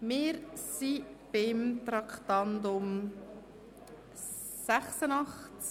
Wir sind beim Traktandum 86 verblieben.